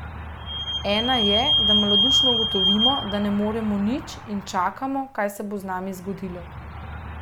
Ena je, da malodušno ugotovimo, da ne moremo nič, in čakamo, kaj se bo z nami zgodilo.